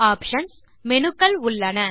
options - menu க்கள் உள்ளன